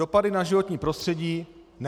Dopady na životní prostředí - ne.